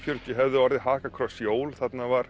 fjörutíu hefðu orðið hakakross jól þarna var